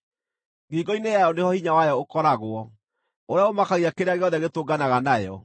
Ngingo-inĩ yayo nĩho hinya wayo ũkoragwo, ũrĩa ũmakagia kĩrĩa gĩothe gĩtũnganaga nayo.